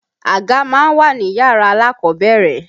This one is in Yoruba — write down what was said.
Àga má ń wà níyàrá alákọ̀ọ́bẹ̀rẹ̀.